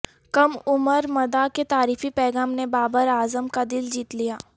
کم عمر مداح کے تعریفی پیغام نے بابر اعظم کا دل جیت لیا